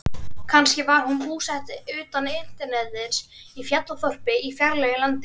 Kannski var hún búsett utan internetsins, í fjallaþorpi í fjarlægu landi.